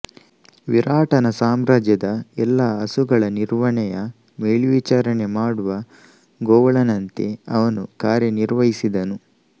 ವಿರಾಟನ ಸಾಮ್ರಾಜ್ಯದ ಎಲ್ಲಾ ಹಸುಗಳ ನಿರ್ವಹಣೆಯ ಮೇಲ್ವಿಚಾರಣೆ ಮಾಡುವ ಗೋವಳನಂತೆ ಅವನು ಕಾರ್ಯನಿರ್ವಹಿಸಿದನು